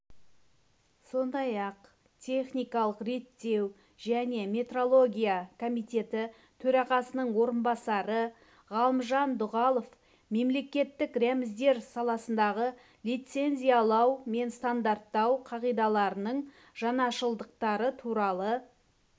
сондай-ақ техникалық реттеу және метрология комитеті төрағасының орынбасары ғалымжан дұғалов мемлекеттік рәміздер саласындағы лицензиялау мен стандарттау қағидаларының жаңашылдықтары туралы